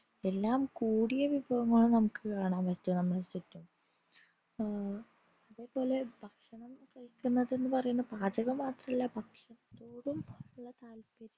എല്ലാം കൂടിയ വിഭവങ്ങൾ നമുക് കാണാൻ പറ്റില്ല നമ്മളെ ചുറ്റും ഉം അതുപോലെ ഭക്ഷണം കഴിക്കുന്നത് പറീന -പാചകം മാത്രമല്ല ഭക്ഷണത്തോടും ഉള്ള താത്പര്യം